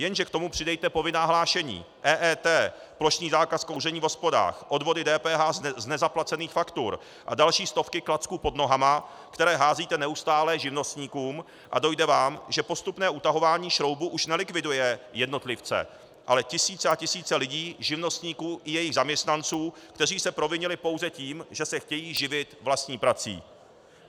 Jenže k tomu přidejte povinná hlášení, EET, plošný zákaz kouření v hospodách, odvody DPH z nezaplacených faktur a další stovky klacků pod nohama, které házíte neustále živnostníkům, a dojde vám, že postupné utahování šroubů už nelikviduje jednotlivce, ale tisíce a tisíce lidí, živnostníků i jejich zaměstnanců, kteří se provinili pouze tím, že se chtějí živit vlastní prací.